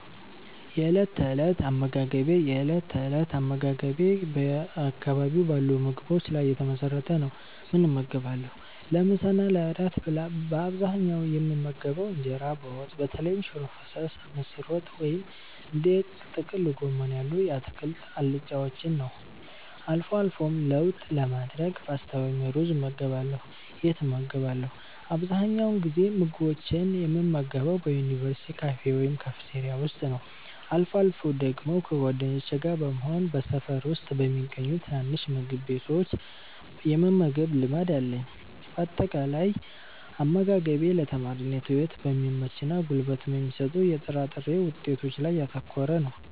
የእለት ተእለት አመጋገቤ የእለት ተእለት አመጋገቤ በአካባቢው ባሉ ምግቦች ላይ የተመሰረተ ነው፦ ምን እመገባለሁ? ለምሳ እና ለእራት በአብዛኛው የምመገበው እንጀራ በወጥ (በተለይም ሽሮ ፈሰስ፣ ምስር ወጥ ወይም እንደ ጥቅል ጎመን ያሉ የአትክልት አልጫዎችን) ነው። አልፎ አልፎም ለውጥ ለማድረግ ፓስታ ወይም ሩዝ እመገባለሁ። የት እመገባለሁ? አብዛኛውን ጊዜ ምግቦችን የምመገበው በዩኒቨርሲቲ ካፌ ወይም ካፍቴሪያ ውስጥ ነው። አልፎ አልፎ ደግሞ ከጓደኞቼ ጋር በመሆን በሰፈር ውስጥ በሚገኙ ትናንሽ ምግብ ቤቶች የመመገብ ልማድ አለኝ። ባጠቃላይ፦ አመጋገቤ ለተማሪነት ህይወት በሚመችና ጉልበት በሚሰጡ የጥራጥሬ ውጤቶች ላይ ያተኮረ ነው።